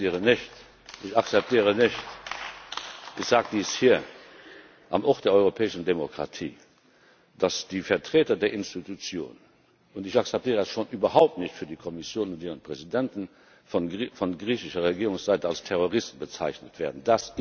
Ich akzeptiere nicht ich sage dies hier am Ort der europäischen Demokratie dass die Vertreter der Institutionen und ich akzeptiere das schon überhaupt nicht für die Kommission und ihren Präsidenten von griechischer Regierungsseite als Terroristen bezeichnet werden.